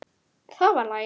Það var lagið.